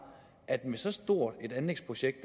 at med så stort et anlægsprojekt